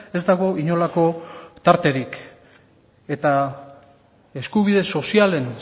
ez dago inolako tarterik eta eskubide sozialen